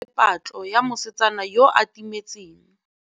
Banna botlhê ba simolotse patlô ya mosetsana yo o timetseng.